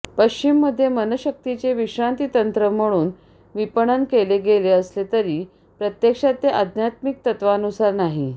पश्चिममध्ये मनशक्तीचे विश्रांती तंत्र म्हणून विपणन केले गेले असले तरी प्रत्यक्षात ते आध्यात्मिक तत्त्वांनुसार नाही